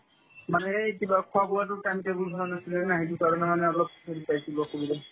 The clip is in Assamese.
মানে এই কিবা খোৱা-বোৱাতো time table ভাল নাছিলেনে নাই সেইকাৰণে মানে আৰু অলপ হেৰি পাইছিলো অসুবিধা